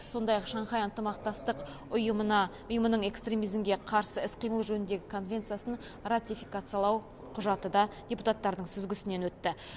сондай ақ шанхай ынтымақтастық ұйымына ұйымының экстремизмге қарсы іс қимыл жөніндегі конвенциясын ратификациялау құжаты да депутаттардың сүзгісінен өтті